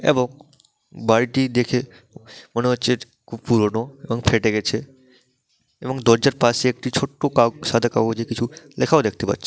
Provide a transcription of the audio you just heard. এবং বাড়িটি দেখে মনে হচ্ছে খুব পুরোনো এবং ফেটে গেছে এবং দরজার পাশে একটি ছোট্ট কাউ সাদা কাগজে লেখাও দেখতে পাচ্ছি ।